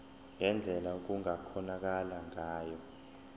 ngendlela okungakhonakala ngayo